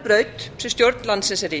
ófærubraut sem stjórn landsins er í